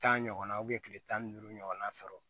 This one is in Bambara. Tan ɲɔgɔnna kile tan ni duuru ɲɔgɔnna sɔrɔ